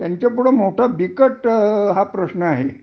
त्यांच्यापुढ मोठा बिकट हा प्रश्न आहे